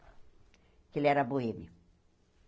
Que ele era boêmio.